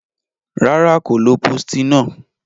Rara, ko lo postinor.